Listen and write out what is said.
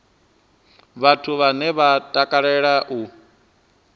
vhathu vhane vha takalea u